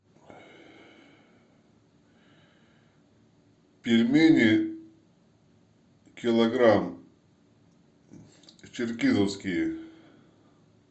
пельмени килограмм черкизовские